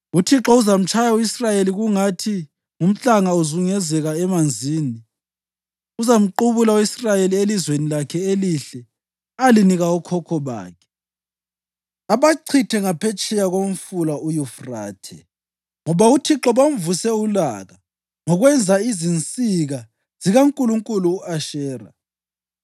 UThixo uzamtshaya u-Israyeli, kungathi ngumhlanga uzunguzeka emanzini. Uzamquphuna u-Israyeli elizweni lakhe elihle alinika okhokho bakhe abachithe ngaphetsheya komfula uYufrathe, ngoba uThixo bamvuse ulaka ngokwenza izinsika zikankulunkulukazi u-Ashera.